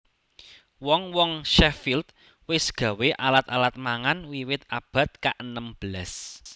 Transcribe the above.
Wong wong Sheffield wés gawé alat alat mangan wiwit abad kaenem belas